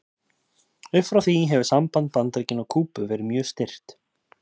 Upp frá því hefur samband Bandaríkjanna og Kúbu verið mjög stirt.